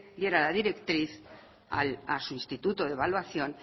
diera la directriz a su instituto de evaluación